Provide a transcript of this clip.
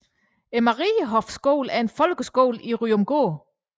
Marienhoffskolen er en folkeskole i Ryomgård